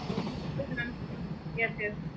okay mam yes yes